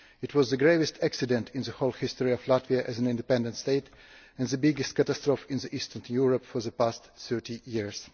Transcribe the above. It was the gravest accident in the whole history of Latvia as an independent state and the biggest catastrophe in Eastern Europe for the past 30 years.